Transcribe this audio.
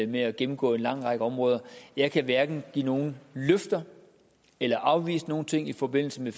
med at gennemgå en lang række områder jeg kan hverken give nogen løfter eller afvise nogen ting i forbindelse med